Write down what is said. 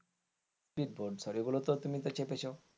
speed boat গুলোতে তো তুমি তো চেপেছ?